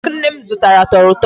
Cake nne m zụtara tọrọ ụtọ.